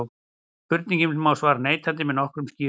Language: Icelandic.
Spurningunni má svara neitandi en með nokkrum skýringum.